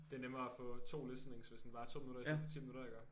Det er nemmere at få 2 listenings hvis den varer 2 minutter istedet for 10 minutter iggå